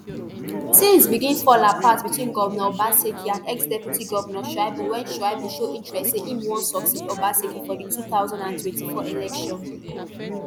tins begin fall apart between govnor obaseki and exdeputy govnor shaibu wen shaibu show interest say im wan succeed obaseki for di two thousand and twenty-four election